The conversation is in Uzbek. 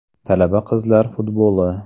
Talaba qizlar futboli.